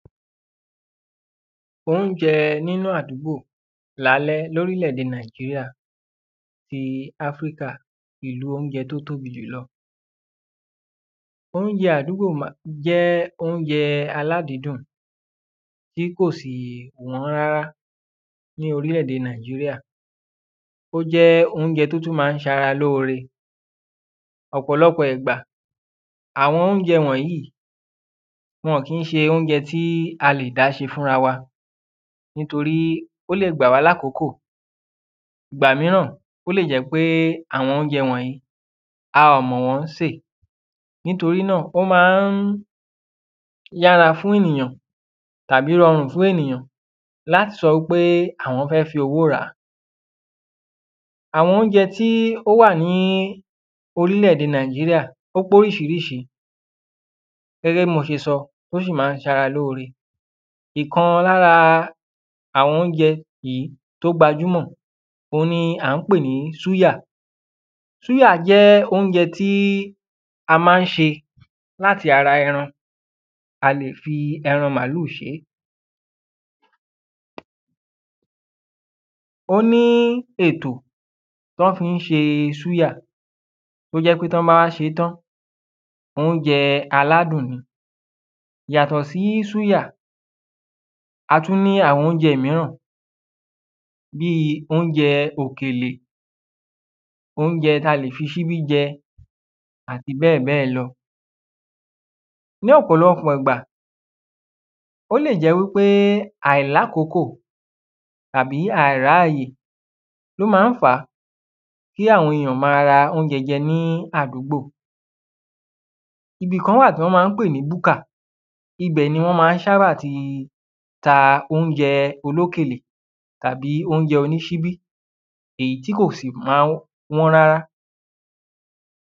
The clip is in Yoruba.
oúnjẹ nínú àdúgbò lálẹ́ lórí lẹ̀ èdè Nàìjíríà ti áfíríkà nìlú oúnjẹ tó tóbi jùlọ oúnjẹ àdúgbò jẹ́ oúnjẹ aládidùn tí kò sì wọ́n rárá ní orílẹ̀ èdè Nàìjíríà ó jẹ́ oúnjẹ tó tún máa ń ṣara lóore, ọ̀pọ̀lọpọ̀ ìgbà àwọn oúnjẹ wọ̀nyí wọn kìí ṣe oúnjẹ tí a lè dá ṣe fún rara wa nítorí ó lè gbà wá láàkókò, ìgbà míràn ó lè jẹ́ pé àwọn oúnjẹ wọ̀nyí a ò mọ̀ wọ́n ṣe nítorí náà wọ́n máa ń yára fún ènìyàn tàbí ranrù fún ènìyàn láti sọ wípé àwọn fẹ́ fi owó ràá àwọn oúnjẹ tí ó wà lórílẹ̀ èdè Nàìjíríà ó pé oríṣiríṣi gẹ́gẹ́ bí mo ṣe sọ ó sì máa ń ṣara lóore ìkan lára àwọn oúnjẹ yìí tó gba júmọ̀ òhun ni à ń pè ní súyà súyà jẹ́ oúnjẹ tí a máa ń ṣe láti ara ẹran a lè fi ẹran màlúù ṣeé ó ní ètò tán fi ń ṣe súyà tó jẹ́ pé tán bá ṣe tán oúnjẹ aládùn ni yàtọ̀ sí súyà a tún ní àwọn oúnjẹ míràn bí oúnjẹ òkèlè, oúnjẹ ta lè fi ṣíbí jẹ́ àti bẹ́ẹ̀bẹ́ẹ̀ lọ ní ọ̀pọ̀lọpọ̀ ìgbà ó lè jẹ́ wípé àìláàkókò tàbí àìráyè ló máa ń fàá kí àwọn ènìyàn máa ń ra oúnjẹ jẹ́ ní àdúgbò ibì kan wà tán máa ń pè ní búkà, ibẹ̀ ni wọ́n sábà ti ń ta oúnjẹ olókèlè tàbí oúnjẹ onísíbí èyí tí kò sì máa ń wọ́n rárá.